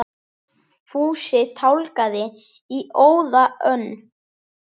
Fúsi tálgaði í óða önn.